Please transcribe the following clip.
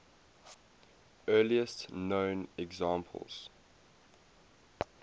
earliest known examples